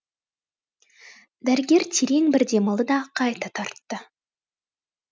дәрігер терең бір демалды да қайта тартты